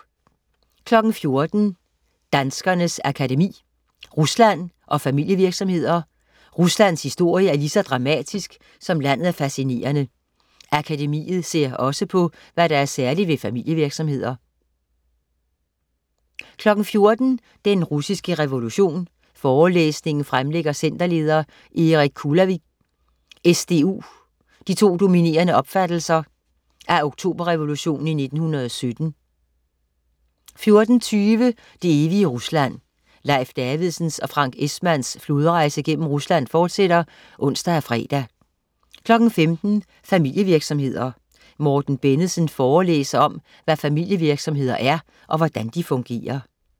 14.00 Danskernes Akademi. Rusland og Familievirksomheder. Ruslands historie er lige så dramatisk, som landet er fascinerende. Akademiet ser også på, hvad der er særligt ved familievirksomheder 14.00 Den russiske revolution. forelæsningen fremlægger centerleder Erik Kulavig, SDU, de to dominerende opfattelser af Oktoberrevolutionen i 1917 14.20 Det evige Rusland. Leif Davidsens og Frank Esmanns flodrejse gennem Rusland fortsætter (ons og fre) 15.00 Familievirksomheder. Morten Bennedsen forelæser om, hvad familievirksomheder er, og hvordan de fungerer